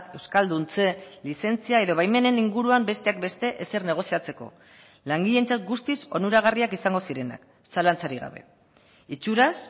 euskalduntze lizentzia edo baimenen inguruan besteak beste ezer negoziatzeko langileentzat guztiz onuragarriak izango zirenak zalantzarik gabe itxuraz